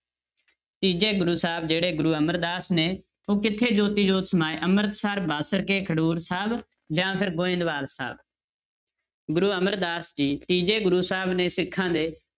ਤੀਜੇ ਗੁਰੂ ਸਾਹਿਬ ਜਿਹੜੇ ਗੁਰੂ ਅਮਰਦਾਸ ਨੇ ਉਹ ਕਿੱਥੇ ਜੋਤੀ ਜੋਤ ਸਮਾਏ ਅੰਮ੍ਰਿਤਸਰ, ਬਾਂਸਰਕੇ, ਖਡੂਰ ਸਾਹਿਬ ਜਾਂ ਫਿਰ ਗੋਵਿੰਦਵਾਲ ਸਾਹਿਬ ਗੁਰੂ ਅਮਰਦਾਸ ਜੀ ਤੀਜੇ ਗੁਰੂ ਸਾਹਿਬ ਨੇ ਸਿੱਖਾਂ ਦੇ,